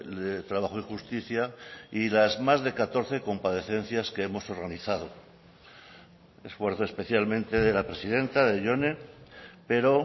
de trabajo y justicia y las más de catorce comparecencias que hemos organizado esfuerzo especialmente de la presidenta de jone pero